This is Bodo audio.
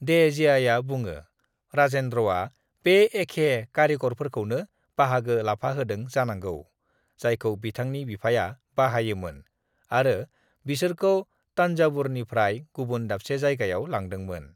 "देहजियाआ बुङो, राजेंद्रआ बे एखे कारिकरफोरखौनो बाहागो लाफाहोदों जानांगौ जायखौ बिथांनि बिफाया बाहायोमोन आरो बिसोरखौ तंजावुरनिफ्राय गुबुन दाबसे जायगायाव लांदोंमोन।"